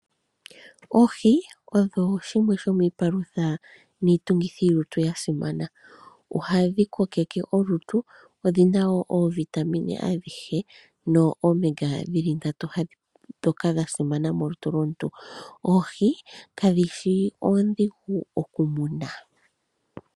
Oohi odho shimwe shomiipalutha niitungithilutu ya simana. Ohadhi kokeke olutu, odhi na wo oovitamine adhihe noOmega 3 ndjoka ya simana molutu lwomuntu. Oohi kadhi shi oondhigu okumuna.